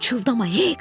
Pıçıldama, heyk.